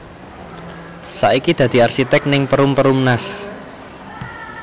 Saiki dadi arsitek ning Perum Perumnas